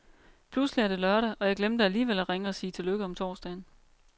Pludselig er det lørdag, og jeg glemte alligevel at ringe og sige tillykke om torsdagen.